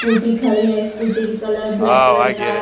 Scooty खड़ी है scooty की कलर ब्लेक कलर का है।